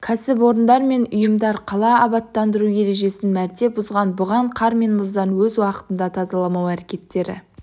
кәсіпорындар мен ұйымдар қала абаттандыру ережесін мәрте бұзған бұған қар мен мұздан өз уақытында тазаламау әрекеттері